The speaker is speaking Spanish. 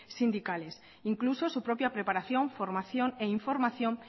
sindicales incluso su propia preparación formación e información